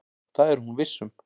Það er hún viss um.